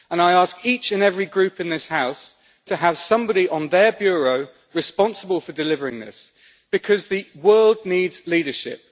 I ask each and every group in this House to have somebody on their Bureau responsible for delivering this, because the world needs leadership.